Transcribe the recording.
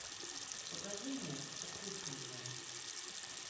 покажи мне укушенная